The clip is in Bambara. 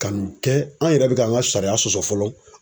Ka nin kɛ an yɛrɛ be k'an ka sariya sɔsɔ fɔlɔ.